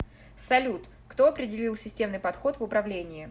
салют кто определил системный подход в управлении